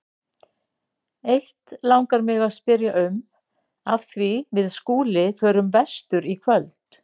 Eitt langar mig að spyrja um, af því við Skúli förum vestur í kvöld.